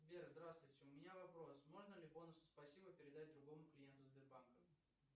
сбер здравствуйте у меня вопрос можно ли бонусы спасибо передать другому клиенту сбербанка